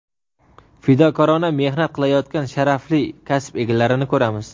fidokorona mehnat qilayotgan sharafli kasb egalarini ko‘ramiz.